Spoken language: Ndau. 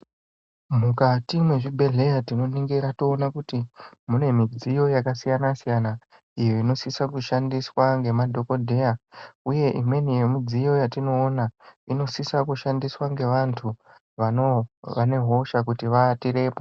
Mukati mwezvibhedhleya tinoningira toona kuti mune midziyo yakasiyana siyana iyo inosisa kushandiswa ngemadhokodheya uye imweni yemidziyo yatinoona, inosisa kushandiswa nevanhu vane hosha kuti vavatirepo.